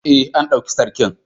Ee, an ɗauki Sarkin.